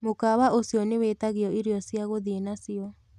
mũkawa ũcĩo niwitagio ĩrĩo cĩa guthĩe nacio